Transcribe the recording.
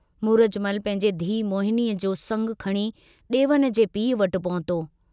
मूरजमल पंहिंजे धीउ मोहिनीअ जो संगु खणी डेवन जे पीउ वटि पहुतो।